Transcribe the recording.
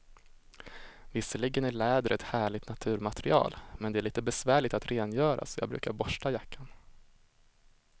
Visserligen är läder ett härligt naturmaterial, men det är lite besvärligt att rengöra, så jag brukar borsta jackan.